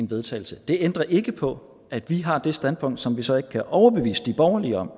vedtagelse det ændrer ikke på at vi har det standpunkt som vi så ikke kan overbevise de borgerlige om